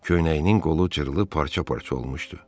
Köynəyinin qolu cırılıb parça-parça olmuşdu.